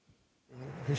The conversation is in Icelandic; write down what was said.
fyrsta